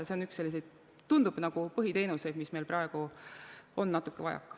See on üks selliseid, tundub, põhiteenuseid, millest meil praegu on natuke vajaka.